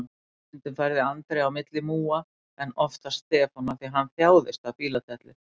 Stundum færði Andri á milli múga, en oftast Stefán af því hann þjáðist af bíladellu.